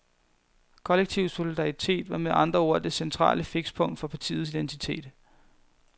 Kollektiv solidaritet var med andre ord det centrale fikspunkt for partiets identitet.